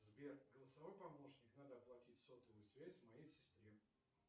сбер голосовой помощник надо оплатить сотовую связь моей сестре